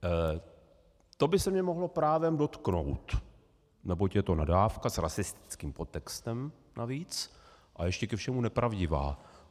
To by se mě mohlo právem dotknout, neboť je to nadávka, s rasistickým podtextem navíc, a ještě ke všemu nepravdivá.